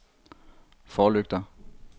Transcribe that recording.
forlygter